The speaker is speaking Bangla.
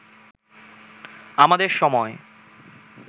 আমাদের সময়